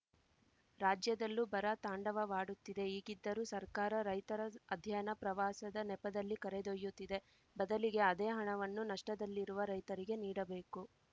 ರಾಜ್ಯದಲ್ಲೂ ಬರ ತಾಂಡವಾಡುತ್ತಿದೆ ಈಗಿದ್ದರೂ ಸರ್ಕಾರ ರೈತರ ಅಧ್ಯಯನ ಪ್ರವಾಸದ ನೆಪದಲ್ಲಿ ಕರೆದೊಯ್ಯುತ್ತಿದೆ ಬದಲಿಗೆ ಅದೇ ಹಣವನ್ನು ನಷ್ಟದಲ್ಲಿರುವ ರೈತರಿಗೆ ನೀಡಬೇಕು